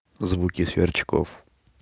звуки сверчков